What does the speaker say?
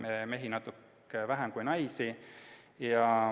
Mehi oli natuke vähem kui naisi.